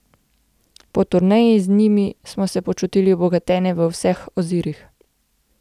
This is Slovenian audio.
Po turneji z njimi smo se počutili obogatene v vseh ozirih.